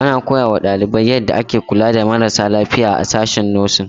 Ana koya wa ɗalibai yadda ake kula da marasa lafiya a sashen 'Nursing'.